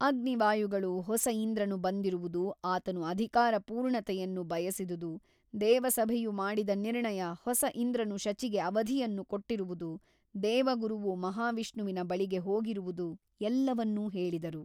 ಅಗ್ನಿ ವಾಯುಗಳು ಹೊಸ ಇಂದ್ರನು ಬಂದಿರುವುದು ಆತನು ಅಧಿಕಾರ ಪೂರ್ಣತೆಯನ್ನು ಬಯಸಿದುದು ದೇವಸಭೆಯು ಮಾಡಿದ ನಿರ್ಣಯ ಹೊಸ ಇಂದ್ರನು ಶಚಿಗೆ ಅವಧಿಯನ್ನು ಕೊಟ್ಟಿರುವುದು ದೇವಗುರುವು ಮಹಾವಿಷ್ಣುವಿನ ಬಳಿಗೆ ಹೋಗಿರುವುದು ಎಲ್ಲವನ್ನೂ ಹೇಳಿದರು.